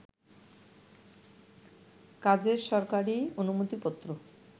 কাজের সরকারি অনুমতিপত্র